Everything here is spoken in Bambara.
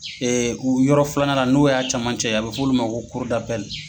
u yɔrɔ filanan n'o y'a caman cɛ ye a bɛ f'olu ma ko